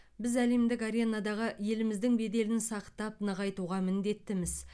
біз әлемдік аренадағы еліміздің беделін сақтап нығайтуға міндеттіміз